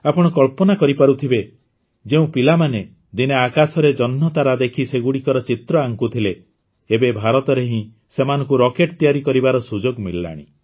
ଆପଣ କଳ୍ପନା କରିପାରୁଥିବେ ଯେଉଁ ପିଲାମାନେ ଦିନେ ଆକାଶରେ ଜହ୍ନତାରା ଦେଖି ସେଗୁଡ଼ିକର ଚିତ୍ର ଆଙ୍କୁଥିଲେ ଏବେ ଭାରତରେ ହିଁ ସେମାନଙ୍କୁ ରକେଟ୍ ତିଆରି କରିବାର ସୁଯୋଗ ମିଳିଲାଣି